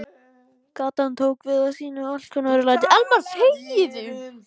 Gatan tók við af sínu alkunna örlæti.